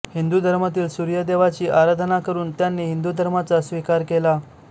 हिंदू धर्मातील सूर्य देवाची आराधना करून त्यांनी हिंदू धर्माचा स्वीकार केला